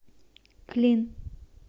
клин